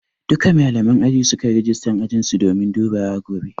Duka malaman aji sukai rijistan ajinsu domin dubawa gobe